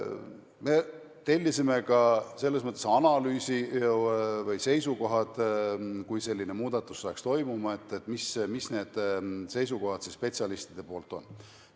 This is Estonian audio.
Me tellisime ka sellekohase analüüsi või seisukohad, et kui selline muudatus peaks toimuma, siis mis on need spetsialistide seisukohad.